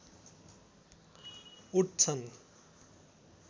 उठ्छन्